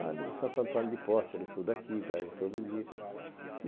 Ah, ele é de Santo Antônio de Possea, ele estuda aqui, e viaja todo dia.